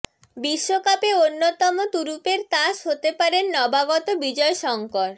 বিশ্বকাপে অন্যতম তুরুপের তাস হতে পারেন নবাগত বিজয় শঙ্কর